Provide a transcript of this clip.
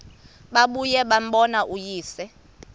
babuye bambone uyise